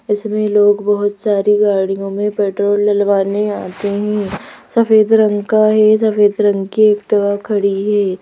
इसमें लोग बहुत सारी गाड़ियों में पेट्रोल डलवाने आते हैं सफ़ेद रंग का है सफ़ेद रंग की एक्टिवा खड़ी है।